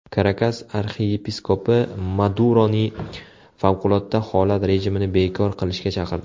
Karakas arxiyepiskopi Maduroni favqulodda holat rejimini bekor qilishga chaqirdi.